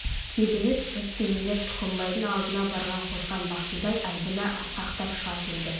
тебіне түсіп кимелеп тұқымбайдың алдына барған қозған бақсыдай айбыны асқақтап шыға келді